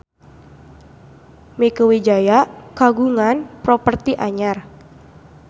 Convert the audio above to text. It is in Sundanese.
Mieke Wijaya kagungan properti anyar